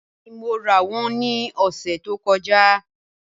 Bẹẹni Mo ra wọn ni ọsẹ to kọja